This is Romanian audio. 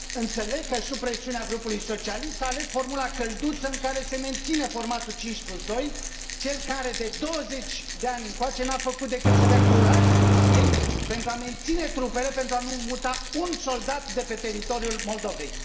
Înțeleg că, sub presiunea grupului socialist, s a ales formula călduță, în care se menține formatul 52, cel care, de 20 de ani încoace, n a făcut decât să dea curaj Rusiei pentru a menține trupele, pentru a nu muta un soldat de pe teritoriul Moldovei.